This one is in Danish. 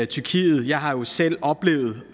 tyrkiet jeg har jo selv oplevet